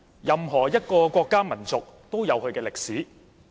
任何一個國家民族均有其歷史。